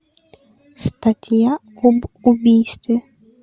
статья об убийстве